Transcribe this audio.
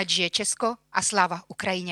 Ať žije Česko - a sláva Ukrajině.